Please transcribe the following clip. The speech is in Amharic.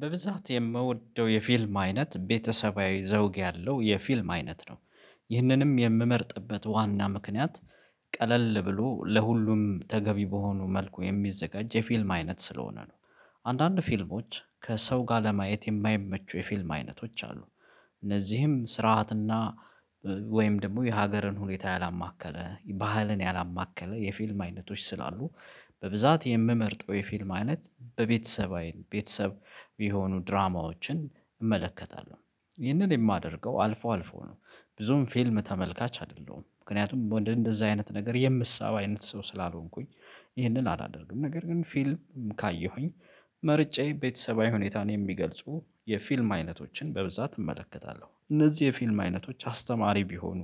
በብዛት የምወደው የፊልም አይነት ቤተሰባዊ ዘውግ ያለው የፊልም አይነት ነው ይህንንም የምመርጥበት ዋና ምክንያት ቀለል ብሎ ለሁሉም ተገቢ በሆኑ መልኩ የሚዘጋጅ የፊልም አይነት ስለሆነ ነው። አንዳንድ ፊልሞች ከሰው ጋር ለማየት የማይመቹ የፊልም አይነቶች አሉ። እነዚህም ስርዓትና ወይም ደግሞ የሀገርን ሁኔታ ያላማከለ ባህልን ያላማከለ የፊልም አይነቶች ስላሉ። በብዛት የምመርጠው የፊልም አይነት በቤተሰብ አይን ቤተሰብ የሆኑ ድራማዎችን እመለከታለሁ ይህንን የማደርገው አልፎ አልፎ ነው። ብዙም ፊልም ተመልካች አይደለሁም ምክንያቱም ወደ እንደዛ አይነት ነገር የምትሳየው አይነት ሰው ስላልሆንኩኝ። ይህንን አላደርግም ነገር ግን ፊልም ካየሁኝ። መርጬ ቤተሰባዊ ሁኔታን የሚገልጹ የፊልም አይነቶችን በብዛት እመለከታለሁ። እነዚህ የፊልም አይነቶች አስተማሪ ቢሆኑ